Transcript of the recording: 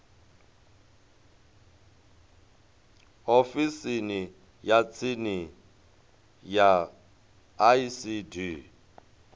ofisini ya tsini ya icd